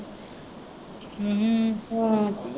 ਹੂੰ ਹੂੰ ਹਾਂ